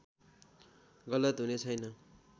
गलत हुने छैन